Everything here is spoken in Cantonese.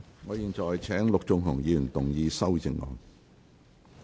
我現在請陸頌雄議員動議修正案。